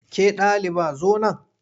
Ke ɗaliba zo nan!